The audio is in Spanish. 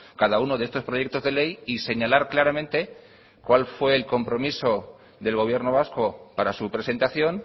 cada uno de estos proyectos de ley y señalar claramente cuál fue el compromiso del gobierno vasco para su presentación